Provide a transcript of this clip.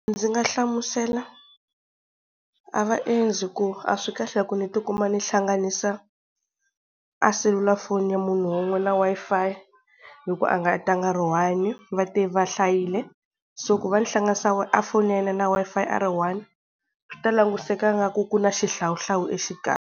Ndzi nga hlamusela a vaendzi ku a swi kahle ku ni tikuma ni hlanganisa a selulafoni ya munhu wun'we, na Wi-Fi hi ku a nga ta nga a ri one va te va hlayile, so ku va ni hlanganisa a foni ya yena na Wi-Fi a ri one, swi ta languseka Ingaku ku na xihlawuhlawu exikarhi.